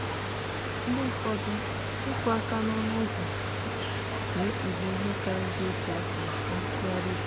mgbe ụfọdụ ịkụ aka n'ọnụ ụzọ na-ekpughe ihe karịrị otu afọ nke ntụgharị uche.